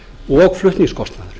og flutningskostnaðurinn